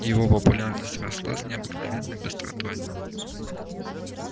его популярность росла с необыкновенной быстротой